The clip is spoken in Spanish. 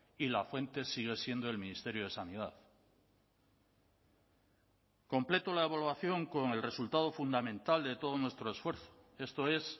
y la fuente sigue siendo el ministerio de sanidad completo la evaluación con el resultado fundamental de todo nuestro esfuerzo esto es